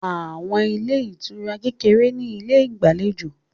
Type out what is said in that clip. Àwọn ilé ìtura kékeré ní ilé ìgbàlejò